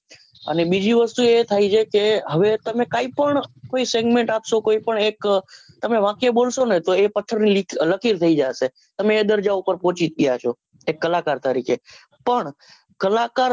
અને બીજી ન વસ્તુ કે એ થાય છે હવે કઈ પણ કોઈ segmenet આપસો કોઈ પણ એક અ વાક્ય બોલ્સો ને તો એ પથ્થર ની લકીર થઈ જાશે તમેં એ દર્જા પર પહોચી ગયા જ ગયા છો એક કલાકર તરીકે પણ કલાકાર